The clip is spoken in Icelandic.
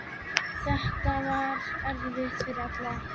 Þetta var erfitt fyrir alla.